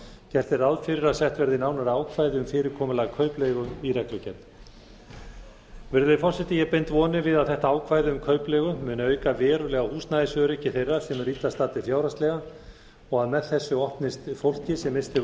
gert er ráð fyrir að sett verði nánari ákvæði um fyrirkomulag kaupleigu í reglugerð virðulegi forseti ég bind vonir við að þetta ákvæði um kaupleigu muni auka verulega á húsnæðisöryggi þeirra sem eru illa staddir fjárhagslega og að með þessu opnist fái sem misst hefur